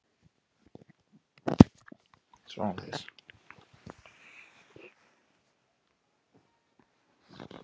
Linda: Veistu hvað hún endist lengi?